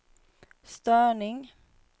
störning